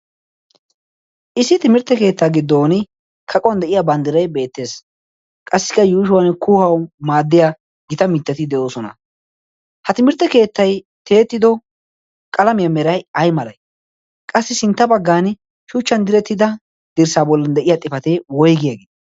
issi timirtte keettaa giddon kaquwan de'iya banddirai beettees. qassikka yuushuwan kuhau maaddiya gita mittati de'oosona ha timirtte keettai teetido qalamiyaa merai ai malai qassi sintta baggan shuchchan direttida dirssaa bollan de'iya xifatee woigiyaagii?